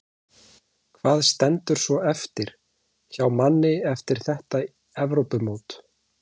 Hvað stendur svo eftir hjá manni eftir þetta Evrópumót?